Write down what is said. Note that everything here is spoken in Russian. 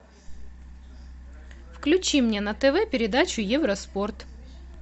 включи мне на тв передачу евроспорт